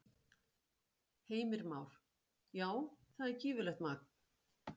Heimir Már: Já, það er gífurlegt magn?